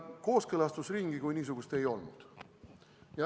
Kooskõlastusringi kui niisugust ei olnud.